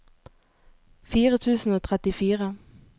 fire tusen og trettifire